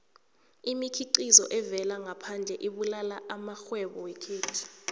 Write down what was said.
imikhiqizo evela ngaphandle ibulala amarhwebo wekhethu